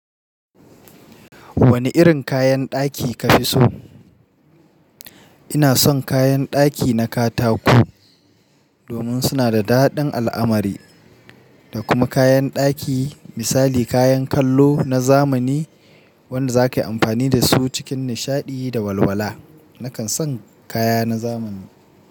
Wani irin kayan ɗaki ka fi so? Ina son kayan ɗaki na katako domin suna da daɗin al'amari da kuma kayan ɗaki misali kayan kallo na zamani wanda za ka yi amfani da su cikin nishaɗi da walwala. Nakan son kaya na zamani.